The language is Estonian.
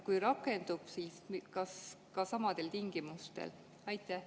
Kui rakendub, siis kas samadel tingimustel?